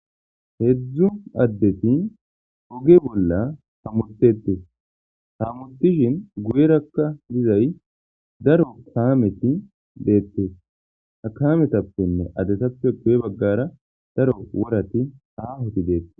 Hedzu adeti ogge bolla hamutetesi hamutishini guyeraka dizayi darro kameti bettesi ha kametapene adetape guye bagara worati bettesi